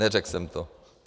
Neřekl jsem to.